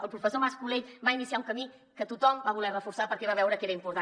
el professor mas colell va iniciar un camí que tothom va voler reforçar perquè va veure que era important